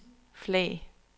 flag